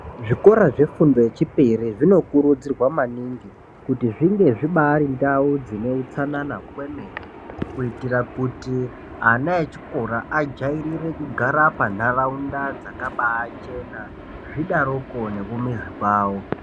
Zvikora zvefundo yechipiri zvinokurudzirwa maningi kuti zvinge zvibari ndau dzine utsanana kwemene kuitira kuti ana echikora ajairire kugara panharaunda dzakabachena zvidaroko nekumizi kwawo.